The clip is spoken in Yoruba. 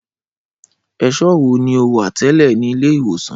Ẹṣọ wo ni o wa tẹlẹ ni ile-iwosan?